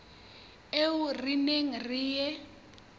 eo re neng re e